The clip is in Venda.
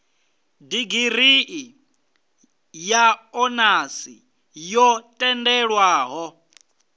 digirii ya onasi yo tendelwaho